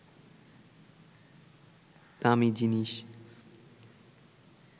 দামি জিনিস